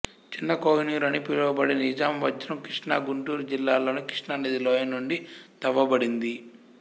చిన్న కోహినూర్ అని పిలువబడే నిజాం వజ్రం కృష్ణాగుంటూరు జిల్లాలలోని కృష్ణానది లోయ నుండి తవ్వబడింది